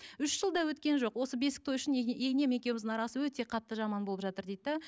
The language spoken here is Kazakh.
үш жылда өткен жоқ осы бесік той үшін енем екеуміздің арасы өте қатты жаман болып жатыр дейді де